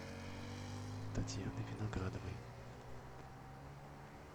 татьяны виноградовой